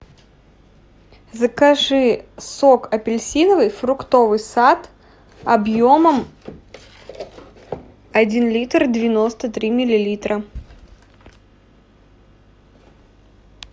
закажи сок апельсиновый фруктовый сад объемом один литр девяносто три миллилитра